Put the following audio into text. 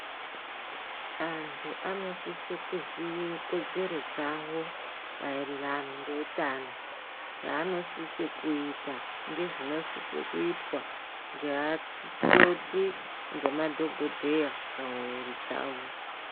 Antu anosise kuziye kodzero dzawo maererano ngeutano zvaanosise kuita ngezvinosise kuitwa ngeakoti ngemadhokodheya pamwiri dzawo.